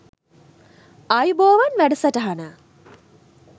ආයුබෝවන් වැඩසටහන